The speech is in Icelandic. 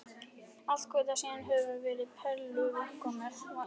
Allar götur síðan höfum við verið perluvinkonur.